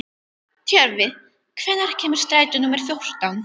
Tjörvi, hvenær kemur strætó númer fjórtán?